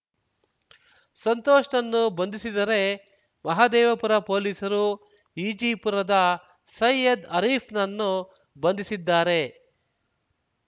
ಸಂತೋಷ್‌ನನ್ನು ಬಂಧಿಸಿದರೆ ಮಹದೇವಪುರ ಪೊಲೀಸರು ಈಜಿಪುರದ ಸೈಯದ್ ಆರೀಫ್‌ನನ್ನು ಬಂಧಿಸಿದ್ದಾರೆ